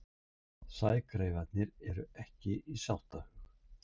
Sægreifarnir ekki í sáttahug